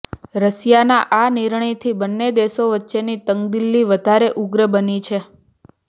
રશિયાના આ નિર્ણયથી બંને દેશો વચ્ચેની તંગદિલી વધારે ઉગ્ર બની છે